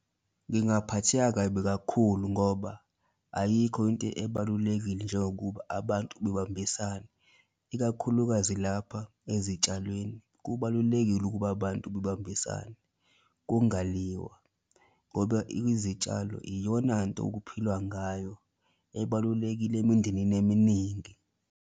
Ngingaphatheka kabi kakhulu ngoba ayikho into ebalulekile njengokuba abantu bebambisane ikakhulukazi lapha ezitshalweni, kubalulekile ukuba abantu bebambisane kungaliwa ngoba izitshalo iyonanto okuphilwa ngayo ebalulekile emindenini eminingi.